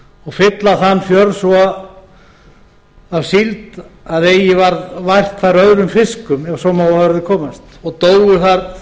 og fylla þann fjörð svo af síld að eigi varð vært þar öðrum fiskum ef svo má að orði komast og dóu þar